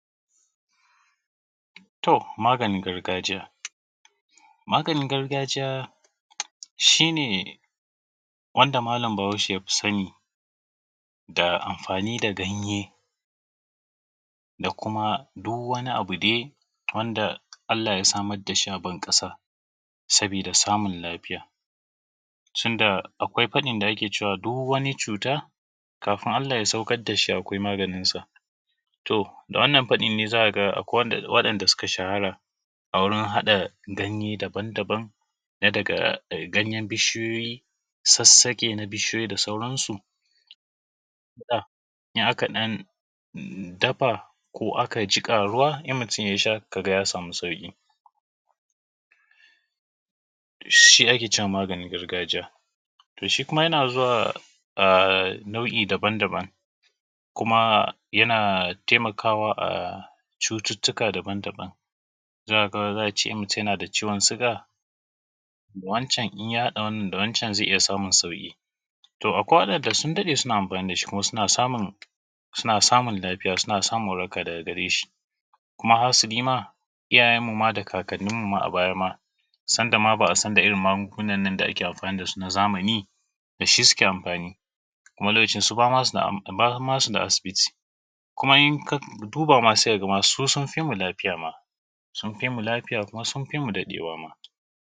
to maganin gargajiya maganin gargajiya shine wanda malam bahaushe yafi sani da amfani da ganye da kuma duk wani abu dai wanda Allah ya samar dashi a ban kasa sabida samun lafiya shin da akwai fadin da ake cewa duk wani cuta kafin Allah ya saukar dashi akwai maganin sa to wannan fadin ne zaka ga akwai wa danda suka shahara gurin hada ganye daban daban na daga ganyen bishiyoyi sassake na bishiyoyi da sauran su idan aka dan dafa ko aka sa a ruwa mutun yasha sai kaga ya samu sauki shi akece cema maganin gargajiya to shi kuma yana zuwa a nau’i daban daban kuma ya tai makawa a cututtuka daban daban zaka cewan idan kace mutun yana da ciwon suga iya hada wannan da wancan zai iyya samun sauki akwai wadan da sun dade suna amfani dashi kuma suna samun lafiya daga gareshi kuma hasali ma iyyayen mu ma da kakan ninmu ma abaya ma sanda ma ba’asan da maganin irrin magunan na da ake amfani dasu na zamani dashi suke amfani kuma lokacin bama suda asibiti kuma inka duba ma sai kaga cewan susunfimu ma lafiya ma sunfi mu lafiya kuma sunfi mu dadewa ma